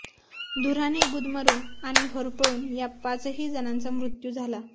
धुराने गुदमरून आणि होरपळून या पाचही जणांचा मृत्यू झाला आहे